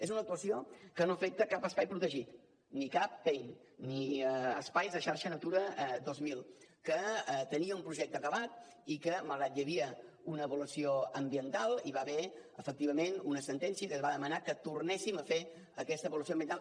és una actuació que no afecta cap espai protegit ni cap pein ni espais de xarxa natura dos mil que tenia un projecte acabat i que malgrat que hi havia una avaluació ambiental hi va haver efectivament una sentència que va demanar que tornéssim a fer aquesta avaluació ambiental